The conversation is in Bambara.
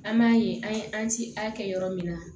An m'a ye an ye an ci a kɛ yɔrɔ min na